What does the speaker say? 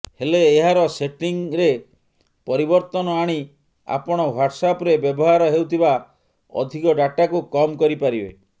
ହେଲେ ଏହାର ସେଟିଂରେ ପରିବର୍ତ୍ତନ ଆଣି ଆପଣ ହ୍ବାଟ୍ସଆପରେ ବ୍ୟବହାର ହେଉଥିବା ଅଧିକ ଡାଟାକୁ କମ କରିପାରିବେ